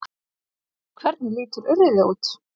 Hvernig lítur urriði út?